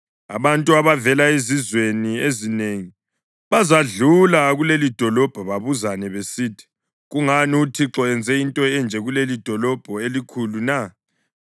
Abantu abavela ezizweni ezinengi bazadlula kulelidolobho babuzane besithi, ‘Kungani uThixo enze into enje kulelidolobho elikhulu na?’